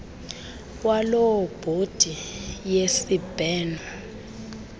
waloo bhodi yesibheno